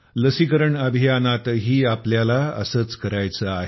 लसीकरण अभियानातही आपल्याला असेच करायचे आहे